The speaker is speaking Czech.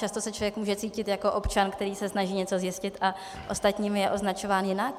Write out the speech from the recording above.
Často se člověk může cítit jako občan, který se snaží něco zjistit a ostatními je označován jinak.